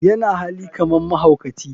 yana hali kaman mahaukaci.